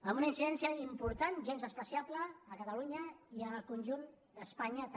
amb una incidència important gens menyspreable a catalunya i al conjunt d’espanya també